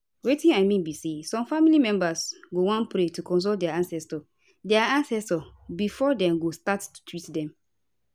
wetin i mean be say some family members go wan pray or consult dia ancestors dia ancestors before dem go start to treat dem